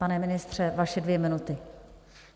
Pane ministře, vaše dvě minuty.